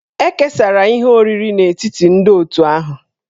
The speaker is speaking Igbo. E kesara ihe oriri n'etiti ndị otù ahụ.